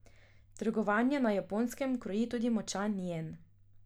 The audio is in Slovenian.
Trgovanje na Japonskem kroji tudi močan jen.